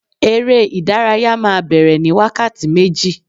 eré ìdárayá ma bere ni wakati meji